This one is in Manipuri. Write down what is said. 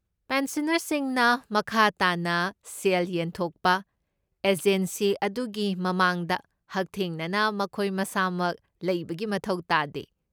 ꯄꯦꯟꯁꯅꯔꯁꯤꯡꯅ ꯃꯈꯥ ꯇꯥꯅ ꯁꯦꯜ ꯌꯦꯟꯊꯣꯛꯄ ꯑꯦꯖꯦꯟꯁꯤ ꯑꯗꯨꯒꯤ ꯃꯃꯥꯡꯗ ꯍꯛꯊꯦꯡꯅꯅ ꯃꯈꯣꯏ ꯃꯁꯥꯃꯛ ꯂꯩꯕꯒꯤ ꯃꯊꯧ ꯇꯥꯗꯦ꯫